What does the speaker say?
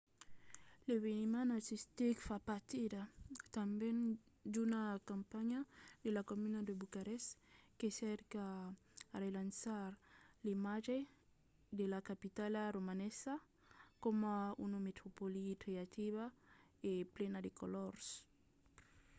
l’eveniment artistic fa partida tanben d’una campanha de la comuna de bucarest que cerca a relançar l'imatge de la capitala romanesa coma una metropòli creativa e plena de colors